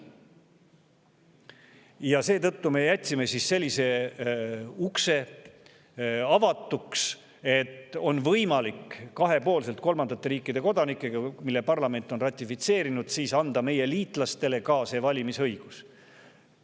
Ja seetõttu me jätsime sellise ukse avatuks, et on võimalik kahepoolselt, juhul kui parlament on ratifitseerinud, anda nende kolmandate riikide kodanikele ka see valimisõigus.